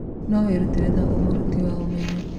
No wĩrutĩre ta mũruti wa ũmenyo.